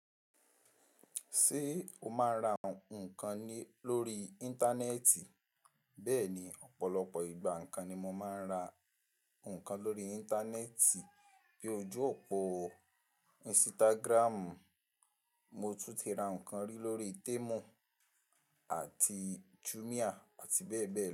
Ṣé o máa ń ra nǹkan lórí Íńtánẹ́ẹ̀tì? Bẹ́ẹ̀ni, ọ̀pọ̀lọpọ̀ ìgbà nǹkan ni mo máa ń ra nǹkan lórí Íńtánẹ́ẹ̀tì bí ojú òpó Instagram. Mo tún ti ra nǹkan rí lórí Temu àti Jumia àti bẹ́ẹ̀ bẹ́ẹ̀ lọ.